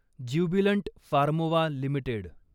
Jubilant Pharmova limited